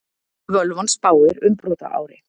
Völvan spáir umbrotaári